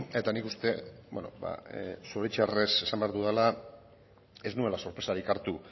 eta nik uste zoritxarrez esan behar dudala ez nuela sorpresarik hartu